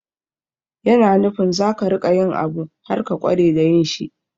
Yana nufin za ka riƙa yin abu har ka ƙware da yin shi.